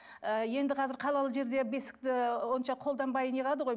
ы енді қазір қалалы жерде бесікті онша қолданбай не қылады ғой